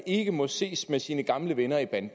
ikke må ses med sine gamle venner i banden